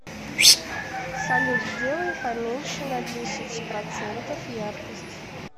салют сделай поменьше на десять процентов яркость